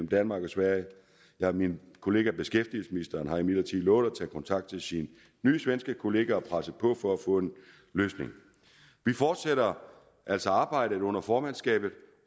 danmark og sverige min kollega beskæftigelsesministeren har imidlertid lovet at tage kontakt til sin nye svenske kollega og presse på for at få en løsning vi fortsætter altså arbejdet under formandskabet